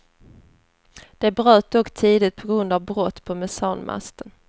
De bröt dock tidigt på grund av brott på mesanmasten.